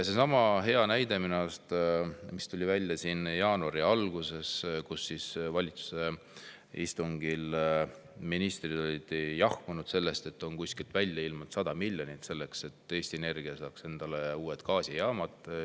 Seesama hea näide jaanuari algusest: ministrid olid valitsuse istungil jahmunud, kuskilt on välja ilmunud 100 miljonit selleks, et Eesti Energia saaks ehitada uued gaasijaamad.